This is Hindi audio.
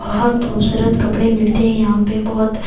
बहुत खूबसूरत कपड़े मिलते हैं यहां पे बहुत--